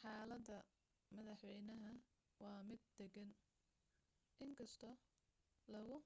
xaalada madaxeynaha waa mid dagan in kasto lagu